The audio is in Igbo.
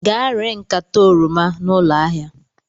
Gaa ree nkata oroma a na ụlọ ahịa!